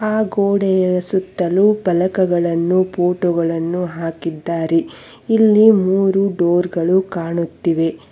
ಆ ಗೋಡೆಯ ಸುತ್ತಲೂ ಪಾಲಕಗಳನ್ನು ಫೋಟೋ ಗಳನ್ನು ಹಾಕಿದ್ದಾರೆ ಇಲ್ಲಿ ಮೂರು ಡೋರ್ ಗಳು ಕಾಣುತ್ತಿವೆ.